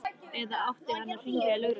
Eða átti hann að hringja í lögregluna?